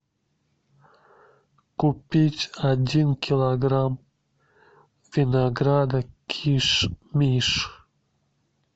купить один килограмм винограда киш миш